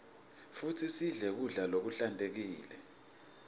futsi sidle kudla lokuhlantekile